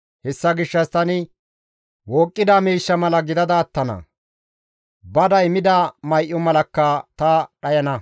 «Hessa gishshas tani wooqqida miishsha mala gidada attana; baday mida may7o malakka ta dhayana.